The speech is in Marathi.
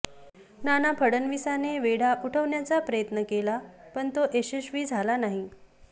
नाना फडणविसाने वेढा उठवण्याचा प्रयत्न केला पण तो यशस्वी झाला नाही